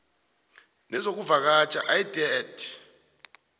nezokuvakatjha idea t